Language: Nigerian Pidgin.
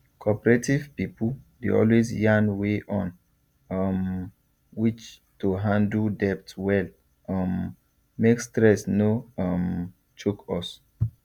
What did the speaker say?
cooperative pipu dey always yarn way on um which to handle debt well um make stress no um choke us